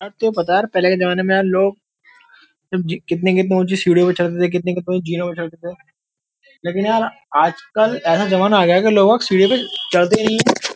यार तुम्हे पता है यार पहले के जमाने में यार लोग कितनी-कितनी ऊंची सीढियों पे चढ़ते थे कितनी-कितनी ऊंची जीनों पे चढ़ते थे लकिन यार आजकल ऐसा ज़माना आ गया है कि लोग अब सीढियों पर चढ़ते ही नहीं हैं।